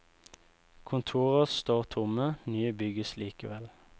Kontorer står tomme, nye bygges likevel.